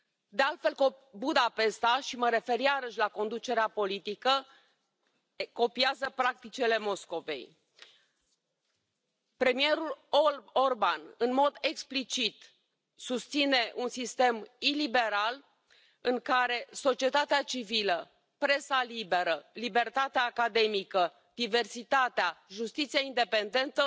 De altfel, Budapesta, și mă refer iarăși la conducerea politică, copiază practicile Moscovei. Premierul Orban, în mod explicit, susține un sistem iliberal, în care societatea civilă, presa liberă, libertatea academică, diversitatea, justiția independentă